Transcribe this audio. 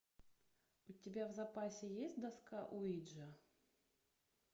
у тебя в запасе есть доска уиджи